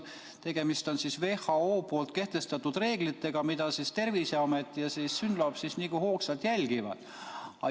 Tegemist on WHO poolt kehtestatud reeglitega, mida Terviseamet ja SYNLAB nagu hoogsalt jälgivad.